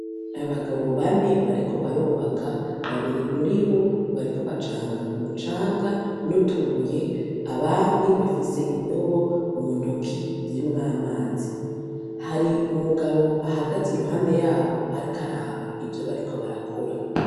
Abagabo bane bariko barobaka babiri muri bo bariko bacanga umucanga n'utubuye abandi bafise indobo mu ntoki zimwo amazi hari umugabo ahagaze i ruhande yabo, ariko araba ivyo bariko barakora.